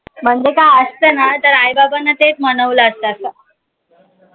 ते आस्ते ना तर आई बाबांना तेच मानवले असतात.